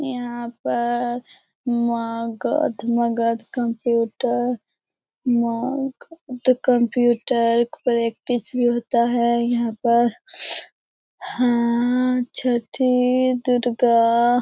यहाँ पर Magadh Magadh computer Magadh computer practice भी होता है यहाँ पर हाँ छठी दुर्गा --